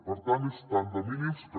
per tant és tant de mínims que